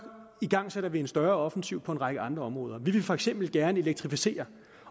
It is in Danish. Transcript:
igangsætter vi en større offensiv på en række andre områder vi vil for eksempel gerne elektrificere